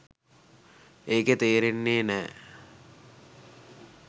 ඒක තේරෙන්නෙ නෑ